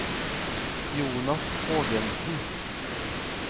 Jonas Hågensen